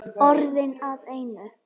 Orðin að einu.